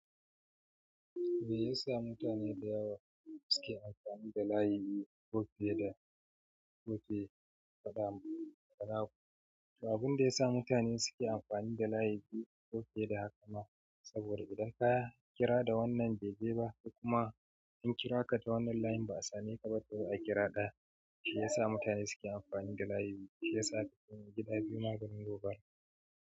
Mai yasa mutane da yawa suke amfani da layi koh fiye da abinda ya sa mutane suke amfani da layi biyu ko fiye da haka ma? Saboda idan ka kira da wannan bai je ba, ko kuma an kira ka da wannan layin ba a same ka ba ko a kira ɗaya, shi yasa mutane suke amfani da layi biyu shi yasa ka ga gida biyu maganin gobara.